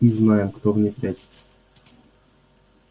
и знаем кто в ней прячется